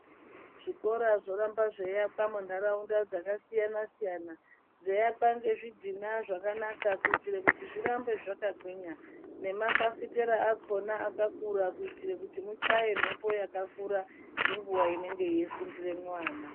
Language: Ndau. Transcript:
Zvikora zvoramba zveiakwa muntaraunda dzakasiyana-siyana, dzeiakwa ngezvidhina zvakanaka kuitira kuti zvirambe zvakagwinya. Nemafafitera achona akakura kuitira kuti muchaye mhepo yakakura inguva inenge yeifundiramwo vana.